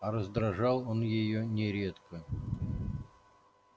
а раздражал он её нередко